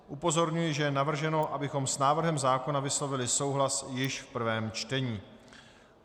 Upozorňuji, že je navrženo, abychom s návrhem zákona vyslovili souhlas již v prvém čtení.